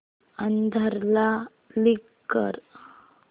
आधार ला लिंक कर